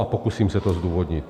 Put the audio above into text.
A pokusím se to zdůvodnit.